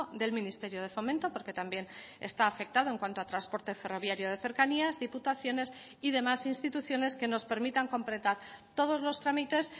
del ministerio de fomento porque también está afectado en cuanto a transporte ferroviario de cercanías diputaciones y demás instituciones que nos permitan completar todos los trámites